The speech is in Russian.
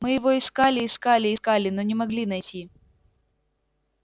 мы его искали искали искали но не могли найти